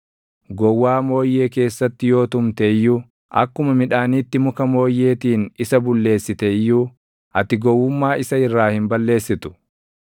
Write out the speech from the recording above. Gowwaa mooyyee keessatti yoo tumte iyyuu, akkuma midhaaniitti muka mooyyeetiin isa bulleessite iyyuu, ati gowwummaa isa irraa hin balleessitu.